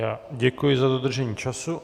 Já děkuji za dodržení času.